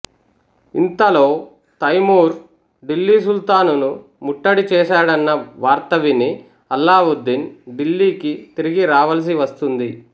ఇంతలో తైమూర్ ఢిల్లీ సుల్తానును ముట్టడి చేసడన్న వార్త విని అల్లావుద్దీన్ ఢిల్లీకి తిరిగి రావలసి వస్తుంది